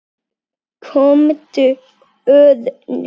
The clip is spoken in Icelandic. Komdu, Örn.